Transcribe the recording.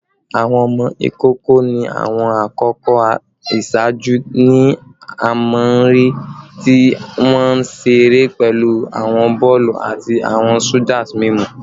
Awọn ọmọ ikoko ni awọn akoko iṣaaju ni a maa n rii ti wọn nṣire pẹlu awọn bọọlu ati awọn soothers mimu